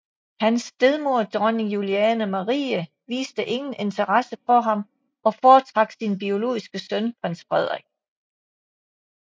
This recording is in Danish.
Hans stedmor Dronning Juliane Marie viste ingen interesse for ham og foretrak sin biologiske søn prins Frederik